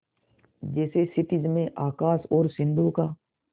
जैसे क्षितिज में आकाश और सिंधु का